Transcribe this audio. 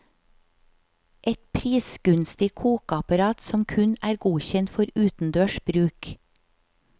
Et prisgunstig kokeapparat som kun er godkjent for utendørs bruk.